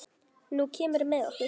Nú kemurðu með okkur